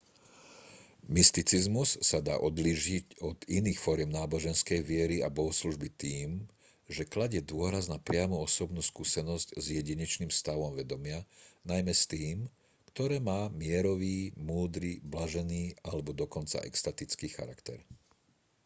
mysticizmus sa dá odlíšiť od iných foriem náboženskej viery a bohoslužby tým že kladie dôraz na priamu osobnú skúsenosť s jedinečným stavom vedomia najmä s tým ktoré má mierový múdry blažený alebo dokonca extatický charakter